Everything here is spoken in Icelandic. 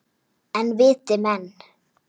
En viti menn!